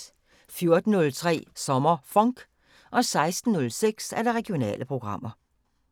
14:03: SommerFonk 16:06: Regionale programmer